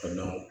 Ka na